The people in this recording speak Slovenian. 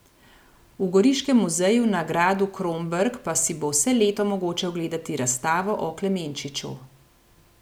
V Goriškem muzeju na gradu Kromberk pa si bo vse leto mogoče ogledati razstavo o Klemenčiču.